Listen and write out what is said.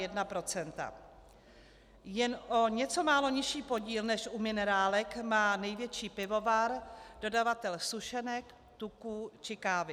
Jen o něco málo nižší podíl než u minerálek má největší pivovar, dodavatel sušenek, tuků či kávy.